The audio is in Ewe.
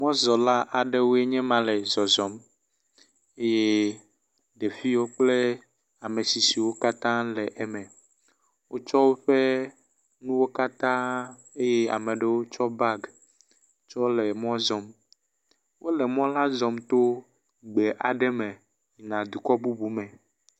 Mɔzɔla aɖewoe nye ma le zɔzɔm eye ɖeviwo kple ame tsitsiwo katã le eme. Wotsɔ woƒe nuwo katã eye ame aɖewo tsɔ bagi tsɔ le mɔ zɔm. Wole mɔ la zɔm to gbe aɖe me yina dukɔ bubu me.